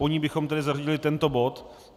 Po ní bychom tedy zařadili tento bod.